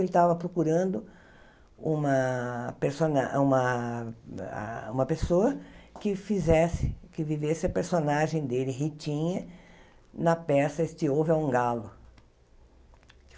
Ele estava procurando uma persona uma ah uma pessoa que fizesse que vivesse a personagem dele, Ritinha, na peça Este Ovo é um Galo.